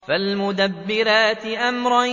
فَالْمُدَبِّرَاتِ أَمْرًا